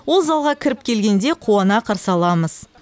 ол залға кіріп келгенде қуана қарсы аламыз